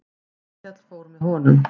Hallkell fór með honum.